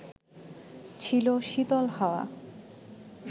ছিল শীতল হাওয়া